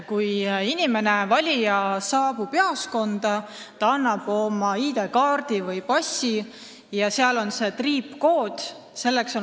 Kui valija saabub seal jaoskonda, siis ta esitab oma ID-kaardi või passi, kus on peal triipkood.